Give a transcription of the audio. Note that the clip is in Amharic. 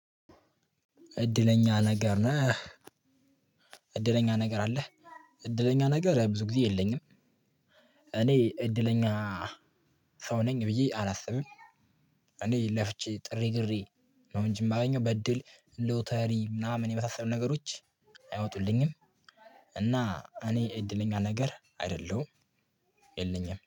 እድለኛ ነገር አለህ? እድለኛ ነገር ብዙ ጊዜ የለኝም። እኔ እድለኛ ሰው ነኝ ብዬ አላስብም። እኔ ለፍቼ ጥሬ ግሬ ነው እንጂ ማገኘው በእድል ሎተሪ ምናምን የመሳሰሉ ነገሮች አይወጡልኝም። እና እኔ እድለኛ ነገር አይደለሁም። የለኝም